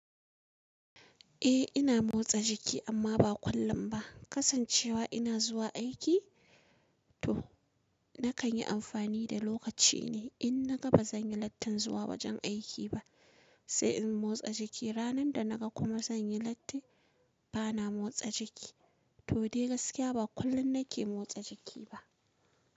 Eh ina motsa jiki amma ba kullum ba. Kasancewa ina zuwa aiki to na kan yi amfani da lokaci ne in na ga ba zan yi lattin zuwa wajen aiki ba. Sai in motsa jiki. Ranar da na ga kuma zan yi lati ba na motsa jiki. To dai gaskiya ba kullum na ke motsa jiki ba.